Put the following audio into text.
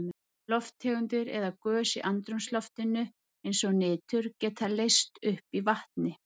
Lofttegundir eða gös í andrúmsloftinu eins og nitur geta leyst upp í vatni.